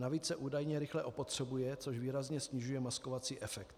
Navíc se údajně rychle opotřebuje, což výrazně snižuje maskovací efekt.